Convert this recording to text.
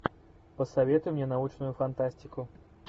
посоветуй мне научную фантастику